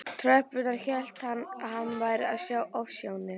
tröppurnar hélt hann að hann væri að sjá ofsjónir.